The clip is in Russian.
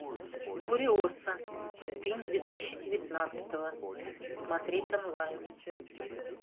куриоса фильм две тысячи девятнадцатого смотреть онлайн